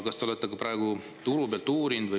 Kas te olete ka turu pealt uurinud?